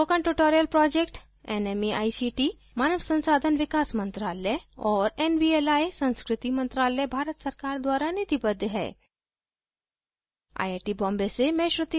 spoken tutorial project nmeict मानव संसाधन विकास मंत्रायल और nvli संस्कृति मंत्रालय भारत सरकार द्वारा निधिबद्ध है